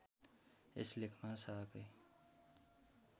यस लेखमा शाहकै